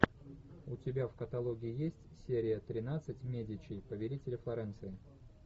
у тебя в каталоге есть серия тринадцать медичи повелители флоренции